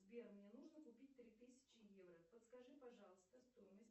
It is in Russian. сбер мне нужно купить три тысячи евро подскажи пожалуйста стоимость